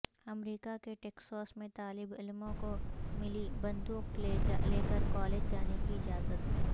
امریکہ کے ٹیکساس میں طالب علموں کو ملی بندوق لے کر کالج جانے کی اجازت